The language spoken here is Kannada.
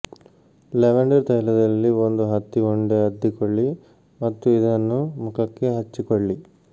ಲ್ಯಾವೆಂಡರ್ ತೈಲದಲ್ಲಿ ಒಂದು ಹತ್ತಿ ಉಂಡೆ ಅದ್ದಿಕೊಳ್ಳಿ ಮತ್ತು ಇದನ್ನು ಮುಖಕ್ಕೆ ಹಚ್ಚಿಕೊಳ್ಳಿ